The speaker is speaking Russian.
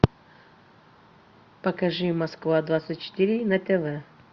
покажи москва двадцать четыре на тв